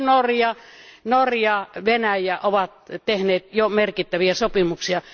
Esimerkiksi Norja ja Venäjä ovat tehneet jo merkittäviä sopimuksia.